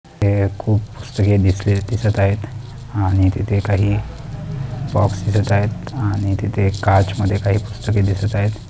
हे खूप पुस्तके दिसले दिसत आहेत आणि तिथे काही बॉक्स दिसत आहेत आणि तिथे एक काच मध्ये काही पुस्तके दिसत आहेत.